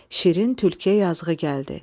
Şirin tülküyə yazığı gəldi.